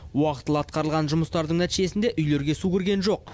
уақытылы атқарылған жұмыстардың нәтижесінде үйлерге су кірген жоқ